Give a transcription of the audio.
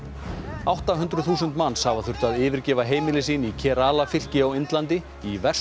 átta hundruð þúsund manns hafa þurft að yfirgefa heimili sín í fylki á Indlandi í verstu